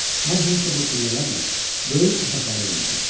Mən həmişə bu pillələrlə böyük otaqlara enirdim.